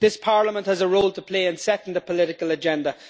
This Parliament has a role to play in setting the political agenda.